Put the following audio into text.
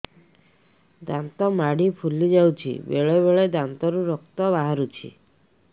ଦାନ୍ତ ମାଢ଼ି ଫୁଲି ଯାଉଛି ବେଳେବେଳେ ଦାନ୍ତରୁ ରକ୍ତ ବାହାରୁଛି